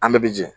An bɛɛ bɛ bi jɛn